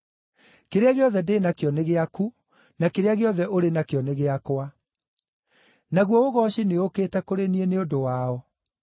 Kĩrĩa gĩothe ndĩ nakĩo nĩ gĩaku, na kĩrĩa gĩothe ũrĩ nakĩo nĩ gĩakwa. Naguo ũgooci nĩũũkĩte kũrĩ niĩ nĩ ũndũ wao.